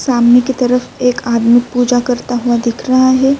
سامنے کی طرف ایک آدمی پوجا کرتا ہوا دیکھ رہا ہے-